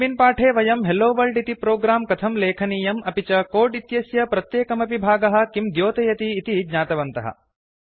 अस्मिन् पाठे वयं हेलोवर्ल्ड इति प्रोग्रां कथं लेखनीयं अपि च कोड् इत्यस्य प्रत्येकमपि भागः किं द्योतयति इति ज्ञातवन्तः